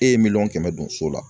E ye miliyɔn kɛmɛ don so la